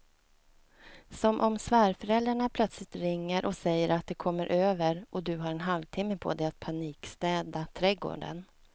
Som om svärföräldrarna plötsligt ringer och säger att de kommer över och du har en halvtimme på dig att panikstäda trädgården.